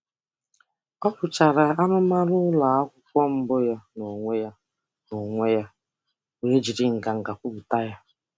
Ọ rụchara arụmarụ ụlọakwụkwọ mbụ ya n'onwe ya n'onwe ya were jiri nganga kwupụta ya.